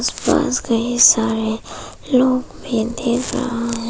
पास कई सारे लोग भी दिख रहा है।